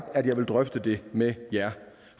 at jeg vil drøfte det med jer